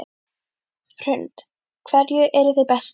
Hrund: Hverju eruð þið best í?